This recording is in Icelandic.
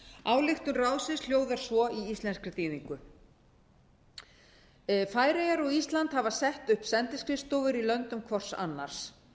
ályktun ráðsins hljóðar svo í íslenskri þýðingu færeyjar og ísland hafa sett upp sendiskrifstofur í löndum hvort annars